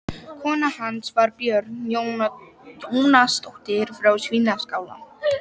Kona hans var Björg Jónasdóttir frá Svínaskála.